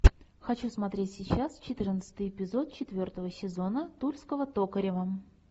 хочу смотреть сейчас четырнадцатый эпизод четвертого сезона тульского токарева